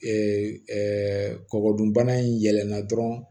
Ee kɔkɔ dunbana in yɛlɛnna dɔrɔn